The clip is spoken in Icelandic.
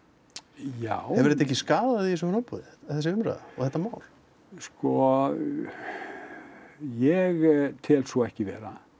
já hefur þetta ekki skaðað þig í þessu framboði þessi umræða og þetta mál sko ég tel svo ekki vera